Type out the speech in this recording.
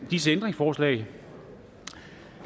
disse ændringsforslag da